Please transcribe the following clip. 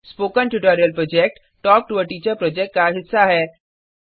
spoken tutorial project talk to a teacher project का हिस्सा है